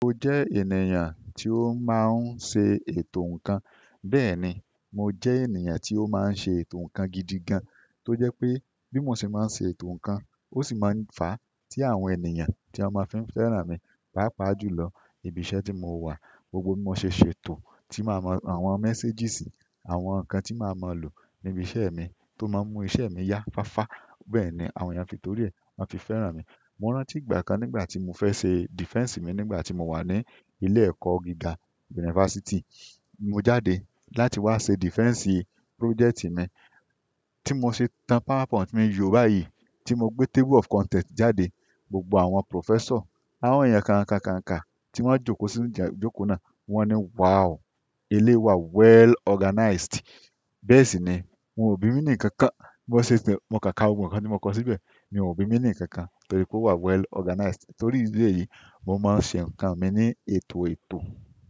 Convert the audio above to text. Mo jẹ́ ènìyàn tí ó máa ń ṣe ètò ǹkan. Bẹ́ẹ̀ni, mo jẹ́ ènìyàn tí ó máa ń ṣe ètò ǹkan gidi gan, tó jẹ́ pé bí mo ṣe máa ń ṣe ètò ǹkan, ó sì máa ń fà á tí àwọn ènìyàn tí wọ́n máa fí fẹ́ràn mi, pàápàá jù lọ. Ibi iṣẹ́ tí mo wà, gbogbo bí mo ṣe ṣètò, tí màá mọ àwọn messages, àwọn ǹkan tí màá máa lò níbi iṣẹ́ mi tó máa mú iṣẹ́ mi yá fáfa. Bẹ́ẹ̀ ni àwọn ènìyàn torí rẹ̀ máa fi fẹ́ràn mi. Mo rántí ìgbà kan nígbà tí mo fẹ́ ṣe defense mi nígbà tí mo wà ní ilé ẹ̀kọ́ gíga university, mo jáde láti wá ṣe defense project mi, tí mo ṣe tan PowerPoint mi yóò báyìí, tí mo gbé table of content jáde, gbogbo àwọn professor, àwọn ènìyàn kànkà kànkà tí wọ́n jókòó sí ìjà jókòó náà wọ́n ní "Wow! Eléyi wa well organized." Bẹ́ẹ̀ sì ni wọ́n ò bí mi ní ǹkan kan. Bí mo ṣe ṣe, mo káà gbogbo ǹkan ní mo kọ síbẹ̀, ní wọ́n ò bí mi ní ǹkan kan torí pé ó wà well organized. Torí ìdí èyí, mo máa ń ṣe ǹkan mi ní ètò ètò.